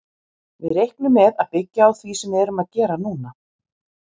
Við reiknum með að byggja á því sem við erum að gera núna.